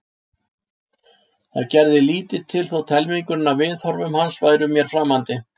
Það gerði lítið til þótt helmingurinn af viðhorfum hans væru mér framandi.